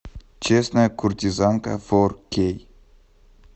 честная куртизанка фор кей